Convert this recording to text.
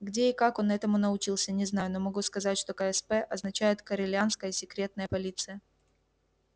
где и как он этому научился не знаю но могу сказать что ксп означает корелианская секретная полиция